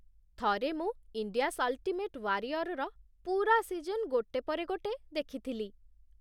ଥରେ ମୁଁ "India's ultimate ୱାରିଅର୍"ର ପୂରା ସିଜନ୍ ଗୋଟେ ପରେ ଗୋଟେ ଦେଖିଥିଲି।